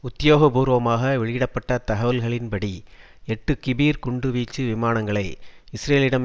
உத்தியோகபூர்வமாக வெளியிட பட்ட தகவல்களின் படி எட்டு கிபீர் குண்டு வீச்சு விமானங்களை இஸ்ரேலிடம்